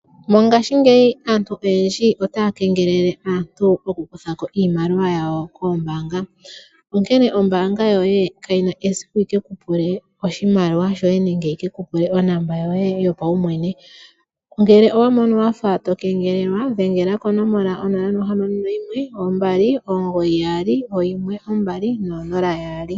Mongashingeyi aantu oyendji otaya kengelele aantu okukutha ko iimaliwa yawo koombaanga. Onkene ombaanga yoye kayina esiku yike kupule oshimaliwa shoye nenge yi ke kupule onomola yoye yopaumwene. Ngele owamono wafa tokengelelwa dhengela ko 0612991200.